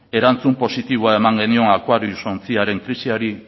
erantzun positiboa eman genion aquarius ontziaren krisiari